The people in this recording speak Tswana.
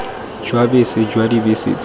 jwa bese jwa dibese tse